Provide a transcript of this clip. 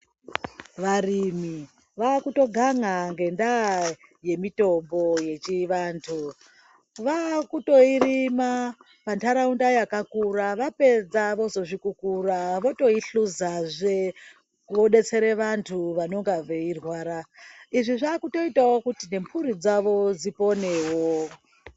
Varimi vakutogan'a ngendaa yemitombo yechivantu. Vakutoirima pantaraunda yakakura, vapedza vozozvikukura votoihluzazve vodetsera vantu vanonga veirwara. Izvi zvakutoitawo kuti nemhuri dzawo dziponewo.